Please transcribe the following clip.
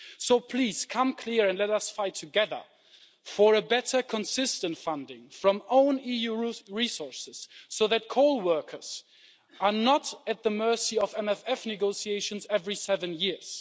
So please come clear and let us fight together for a better consistent funding from own EU resources, so that coal workers are not at the mercy of MFF negotiations every seven years.